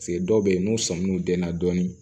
dɔw bɛ yen n'u sɔmi n'u denna dɔɔnin